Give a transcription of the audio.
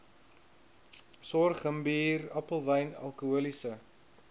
sorghumbier appelwyn alkoholiese